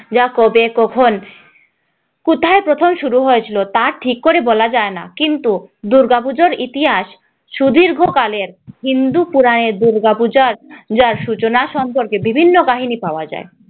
পূজা কবে, কখন, কোথায় প্রথম শুরু হয়েছি তা ঠিক করে বলা যায় না কিন্তু দুর্গাপূজার ইতিহাস সুদীর্ঘকালের হিন্দু পুরাণে দুর্গাপূজার সূচনা সম্পর্কে বিভিন্ন কাহিনী পাওয়া যায়